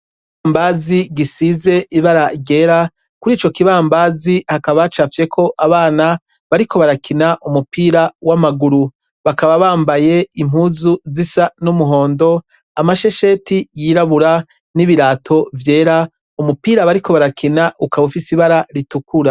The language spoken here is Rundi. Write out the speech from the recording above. Ikibambazi gisize ibara ryera kurico kibambazi hakaba hacafyeko abana bariko barakina umupira wamaguru bakaba bambaye impuzu zisa numuhondo amashesheti yirabura nibirato vyera umupira bariko barakina ukaba ufise ibara ritukura